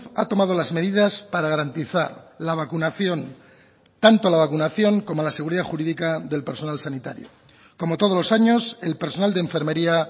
ha tomado las medidas para garantizar la vacunación tanto la vacunación como la seguridad jurídica del personal sanitario como todos los años el personal de enfermería